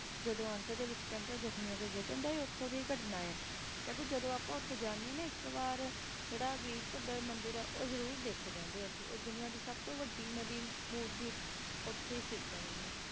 ਜਦੋਂ ਅੰਤਰੇ ਵਿਚ ਕਹਿੰਦੇ ਜ਼ਖਮੀਆਂ ਦੇ ਗਠਨ ਦੇ ਉੱਤੋਂ ਦੀ ਘਟਨਾ ਹੈ ਤੇ ਦੁਨੀਆ ਦੀ ਸਬ ਤੋਂ ਵੱਡੀ ਮੂਰਤੀ ਸੀਤਾ ਦੀ ਉਥੇ ਹੈ ਹੈ ਕਹਿੰਦੇ